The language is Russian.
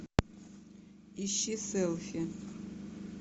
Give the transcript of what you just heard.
ищи селфи